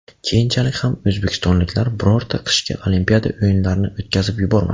Keyinchalik ham o‘zbekistonliklar birorta qishki Olimpiada o‘yinlarini o‘tkazib yubormadi.